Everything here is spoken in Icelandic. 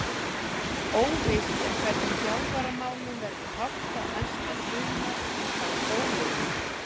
Óvíst er hvernig þjálfaramálum verður háttað næsta sumar hjá Stólunum.